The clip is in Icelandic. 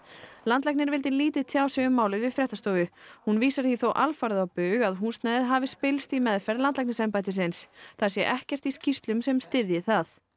landlæknir vildi lítið tjá sig um málið við fréttastofu hún vísar því þó alfarið á bug að húsnæðið hafi spillst í meðferð landlæknisembættisins það sé ekkert í skýrslum sem styðji það